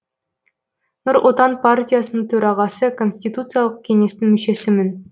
нұр отан партиясының төрағасы конституциялық кеңестің мүшесімін